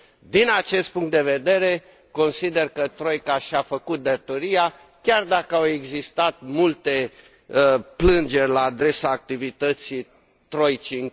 Din acest punct de vedere, consider că troica și a făcut datoria, chiar dacă au existat multe plângeri la adresa activității troicii.